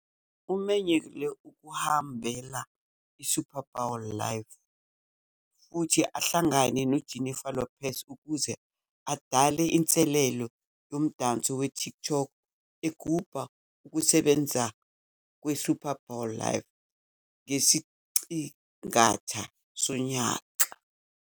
Umenyelwe ukuhambela iSuper Bowl LIV futhi ahlangane noJennifer Lopez ukuze adale inselelo yomdanso weTikTok egubha ukusebenza kweSuper Bowl LIV ngesiqingatha sonyaka.